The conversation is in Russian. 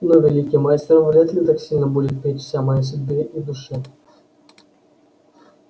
но великий мастер вряд ли так сильно будет печься о моей судьбе и душе